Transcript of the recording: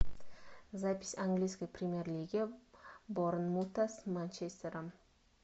запись английской премьер лиги борнмута с манчестером